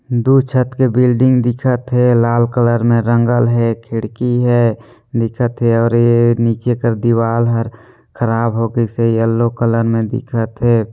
दु छत के बिल्डिंग दिखत हे लाल कलर में रंगल हे खिड़की हे दिखत हे और ये नीचे एकर दिवाल हर खराब हो गयी से येलो कलर में दिखत है।